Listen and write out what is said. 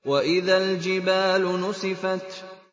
وَإِذَا الْجِبَالُ نُسِفَتْ